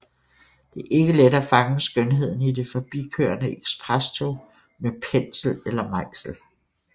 Det er ikke let at fange skønheden i det forbikørende eksprestog med pensel eller mejsel